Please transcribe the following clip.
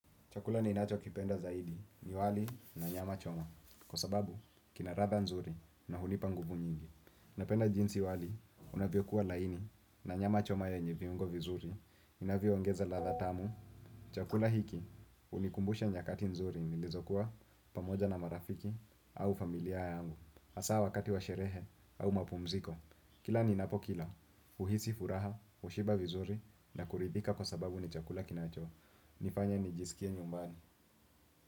Chakula ninacho kipenda zaidi ni wali na nyama choma, kwa sababu kina ladha nzuri na hunipa nguvu nyingi. Napenda jinsi wali unavyo kuwa laini na nyama choma ya nye viungo vizuri, inavyo ngeza latha tamu. Chakula hiki hunikumbusha nyakati nzuri nilizo kuwa pamoja na marafiki au familia yangu. Hasa wakati wa sherehe au mapumziko. Kila ninapo kila, huhisi furaha, kushiba vizuri na kuridhika kwa sababu ni chakula kinacho. Nifanye ni jisikie nyumbani.